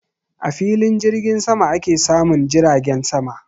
A filin jirgin sama ake samun jiragen sama